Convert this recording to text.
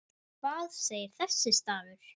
Hvað segir þessi stafur?